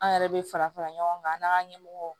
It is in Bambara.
An yɛrɛ bɛ fara fara ɲɔgɔn kan an n'an ka ɲɛmɔgɔw